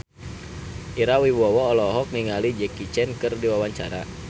Ira Wibowo olohok ningali Jackie Chan keur diwawancara